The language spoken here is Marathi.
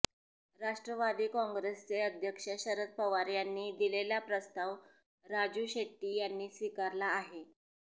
राष्ट्रवादी काँग्रेसचे अध्यक्ष शरद पवार यांनी दिलेला प्रस्ताव राजू शेट्टी यांनी स्वीकारला आहे